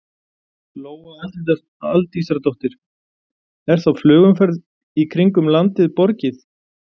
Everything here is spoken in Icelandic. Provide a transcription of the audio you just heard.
Lóa Aldísardóttir: Er þá flugumferð í kringum landið borgið?